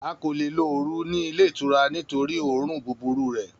A ko le lo oru ni ile itura nitori õrùn buburu rẹ